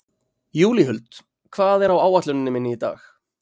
Júlíhuld, hvað er á áætluninni minni í dag?